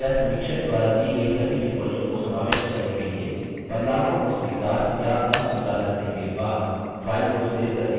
कृपया समीक्षक द्वारा दी गई सभी टिप्पणियों को समाविष्ट करने के लिए बदलावों को स्वीकार या अस्वीकार करने के बाद फाइल को सेव करने के लिए सुनिश्चित रहें